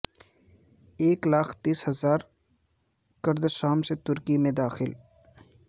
ایک لاکھ تیس ہزار کرد شام سے ترکی میں داخل